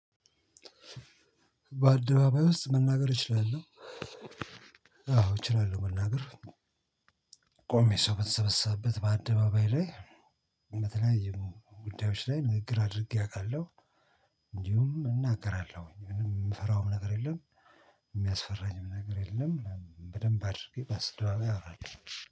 በአደባባይ ውስጥ መናገር እችላለሁ። አዎ እችላለሁ መናገር ቆሜ ሰው በተሰበሰበበት በአደባባይ ላይ። በተለያዩ ጉዳዮች ላይ ንግግር አድርጌ አውቃለሁ። እንዲሁም እናገራለሁኝ ምንም የምፈራውም ነገር የለም። የሚያስፈራኝም ነገር የለም በደንብ አድርጌ በአደባባይ አወራለሁ።